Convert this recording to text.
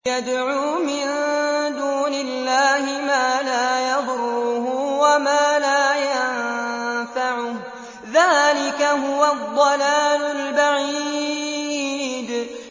يَدْعُو مِن دُونِ اللَّهِ مَا لَا يَضُرُّهُ وَمَا لَا يَنفَعُهُ ۚ ذَٰلِكَ هُوَ الضَّلَالُ الْبَعِيدُ